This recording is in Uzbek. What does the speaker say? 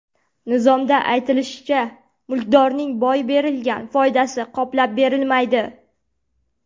Nizomda aytilishicha, mulkdorning boy berilgan foydasi qoplab berilmaydi.